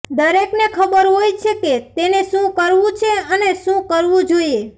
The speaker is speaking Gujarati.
દરેકને ખબર હોય છે કે તેને શું કરવાનું છે અને શું કરવું જોઈએ